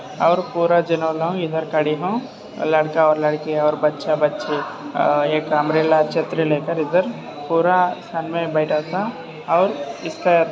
और पूरा इधर खडेला लड़का और लड़की और बच्चा बच्ची एक अम्ब्रेला छत्रि लेकर इधर पूरा सन बैठा था और इसका --